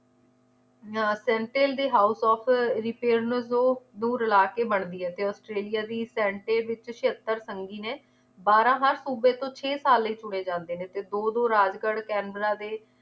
ਦੇ house of repairnzo ਨੂੰ ਰਲਾ ਕੇ ਬਣਦੀ ਏ ਤੇ ਔਸਟ੍ਰੇਲਿਆ ਦੀ ਸੈਂਟੇ ਵਿਚ ਛੇਅੱਤਰ ਸੰਗੀ ਨੇ ਬਾਰ੍ਹਾਂ ਹਰ ਸੂਬੇ ਤੋਂ ਛੇ ਸਾਲ ਲਈ ਚੁਣੇ ਜਾਂਦੇ ਨੇ ਤੇ ਦੋ ਦੋ ਰਾਜਗੜ੍ਹ ਕੈਨਬਰਾ ਦੇ